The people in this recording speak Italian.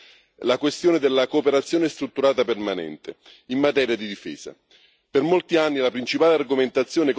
Al vertice di dicembre è stata anche affrontata la questione della cooperazione strutturata permanente in materia di difesa.